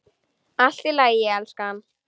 Allt í lagi, elskan.